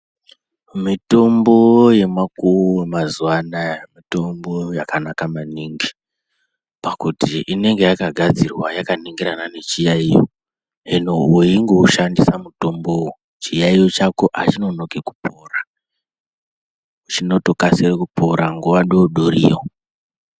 Mitombo yemakuwo wemazuva anaya mitombo yakanaka maningi pakuti inenge yakagadzirwa yakanangirana nechiyaiyo. Hino weingoushandisa mutombowo, chiyaiyo chako hachinonoki kupora chinotopra nguva doodoriyo.